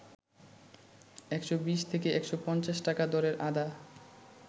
১২০ থেকে ১৫০ টাকা দরের আদা